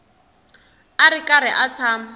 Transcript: a ri karhi a tshama